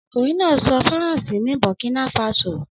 Ọkunrin naa sọ Faranse ni Burkina faso.